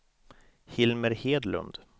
Hilmer Hedlund